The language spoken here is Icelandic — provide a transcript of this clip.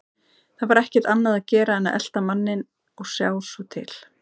Það var ekkert annað að gera en að elta manninn og sjá svo til.